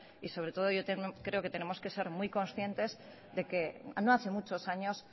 y sobre todo creo que tenemos que ser muy conscientes de que no hace muchos años